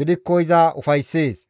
gidikko iza ufayssees.